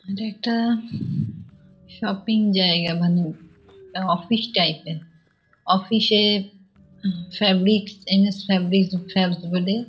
ইটা একটা শপিং জায়গা মানে অফিস টাইপ এর অফিস এ এম.এস. Fabric MS. ফ্যাবস বলে।